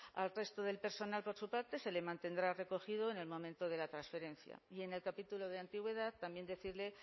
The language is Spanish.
al resto del personal por su parte se le mantendrá recogido en el momento de la transferencia y en el capítulo de antigüedad también decirle